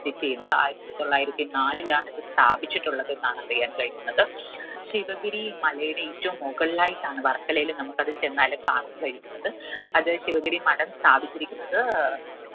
visit എയ്യുന്നത്. ആയിരത്തി തൊള്ളായിരത്തി നാലിലാണ് ഇത് സ്ഥാപിച്ചിട്ടുള്ളത് എന്നാണ് അറിയാൻ കഴിയുന്നത് ശിവഗിരി മലയുടെ ഏറ്റവും മുകളിലായിട്ടാണ് വർക്കലയില് നമുക്കത് ചെന്നാല് കാണാൻ കഴിയുന്നത് അത് ശിവഗിരി മഠം സ്ഥാപിച്ചിരിക്കുന്നത്